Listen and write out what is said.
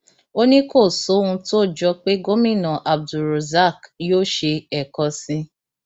ó ní kò sóhun tó jọ pé gómìnà abdulrozak yóò ṣe ẹẹkan sí i